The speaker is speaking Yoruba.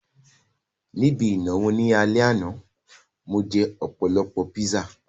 Ní ibi ìnáwó ní alẹ́ àná, mo jẹ́ ọ̀pọ̀lọpọ̀ píṣà